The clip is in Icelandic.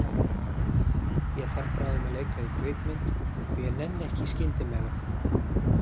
Ég þarf bráðum að leika í kvikmynd og ég nenni ekki í skyndimegrun.